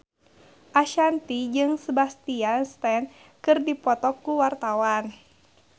Ashanti jeung Sebastian Stan keur dipoto ku wartawan